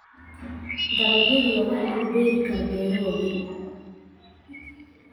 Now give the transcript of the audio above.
Dalagyada waxaa lagu beeri karaa beero waaweyn.